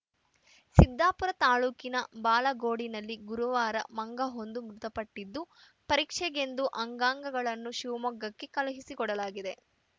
ಸಿದ್ದಾಪುರ ತಾಲೂಕಿನ ಬಾಳಗೋಡಿನಲ್ಲಿ ಗುರುವಾರ ಮಂಗವೊಂದು ಮೃತಪಟ್ಟಿದ್ದು ಪರೀಕ್ಷೆಗೆಂದು ಅಂಗಾಂಗಗಳನ್ನು ಶಿವಮೊಗ್ಗಕ್ಕೆ ಕಳುಹಿಸಿಕೊಡಲಾಗಿದೆ